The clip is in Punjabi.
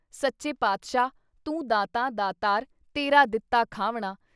ਸੱਚੇ ਪਾਤਸ਼ਾਹ ! “ਤੂੰ ਦਾਤਾ ਦਾਤਾਰ ਤੇਰਾ ਦਿਤਾ ਖਾਵਣਾ।